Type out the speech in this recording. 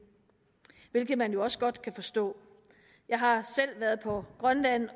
hvilket man også godt kan forstå jeg har selv været på grønland